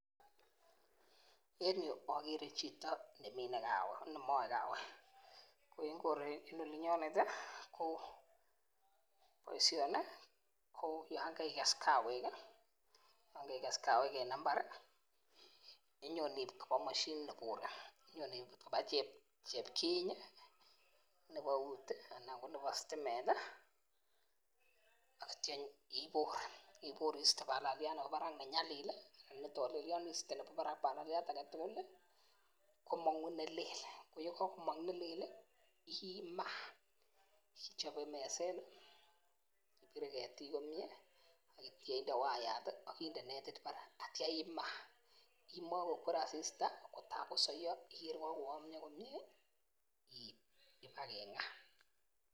En yuu okere chito nemine kawek nemie kawek, ko en olinyonet tii boishoni yon keikes kawek kii akikes kawek en imbari inyon iib koba moshinit mebore onyone ibut koba chepkinyi nebo eut ana ko nebo stimet tii ak ityo ibore ibore iste balaliat nebo barak nenyalil lii ana nitolelion iste nebo barak balaliat aketukul lii komongu nelel koyekokomong nelel lii imaa ichobe meset tii ibire ketik komie ak ityo inde wayat tii ak inde netit barak ak ityo imaa, imoe kokwer asista koraa kosoyo ikere kokoyomyo komie iib kiba kenga.